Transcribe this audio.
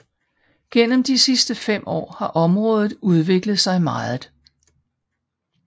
Gennem de sidste fem år har området udviklet sig meget